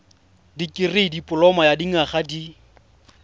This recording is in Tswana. dikirii dipoloma ya dinyaga di